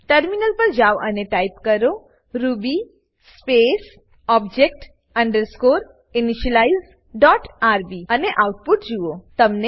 terminal પર જાવ અને ટાઈપ કરો Ruby space object underscore initialize dot RB અને આઉટપુટ જુઓ